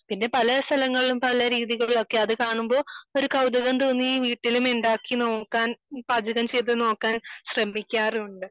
പിന്നെ പല സ്ഥലങ്ങളിലും പല രീതികലോക്കെ അത് കാണുമ്പോൾ ഒരു കൗതുകം തോന്നി വീട്ടിലും ഉണ്ടാക്കി നോക്കാൻ പാചകം ചെയ്തു നോക്കാൻ ശ്രമിക്കാറുണ്ട്